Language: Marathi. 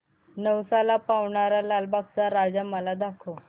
नवसाला पावणारा लालबागचा राजा मला दाखव